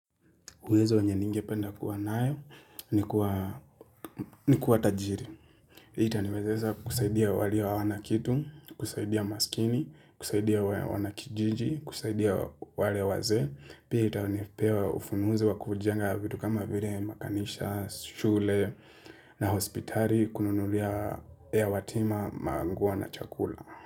Uwezo wenye ningependa kuwa nao ni kuwa tajiri. Itaniwezesha kusaidia wale hawana kitu, kusaidia maskini, kusaidia wanakijiji, kusaidia wale wazee. Pia itanipewa ufunuzi wa kujenga vitu kama vile makanisa, shule na hospitali, kununulia mayatima nguo na chakula.